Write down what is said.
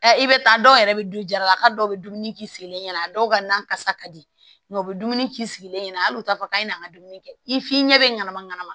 Ɛ i bɛ taa dɔw yɛrɛ bɛ du jarala ka dɔw bɛ dumuni k'i sigilen ɲɛna a dɔw ka na kasa ka di nka u bɛ dumuni k'i sigilen ɲɛna hali u t'a fɔ k'a ɲɛna dumuni kɛ i f'i ɲɛ bɛ ɲɛnama ɲanama